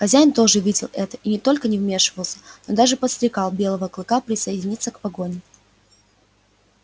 хозяин тоже видел это и не только не вмешивался но даже подстрекал белого клыка присоединиться к погоне